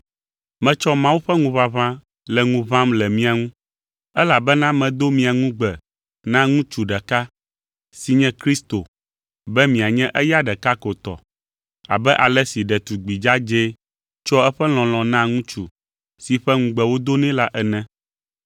Metsɔ Mawu ƒe ŋuʋaʋã le ŋu ʋãm le mia ŋu; elabena medo mia ŋugbe na ŋutsu ɖeka, si nye Kristo be mianye eya ɖeka ko tɔ, abe ale si ɖetugbi dzadzɛ tsɔa eƒe lɔlɔ̃ naa ŋutsu si ƒe ŋugbe wodo nɛ la ene.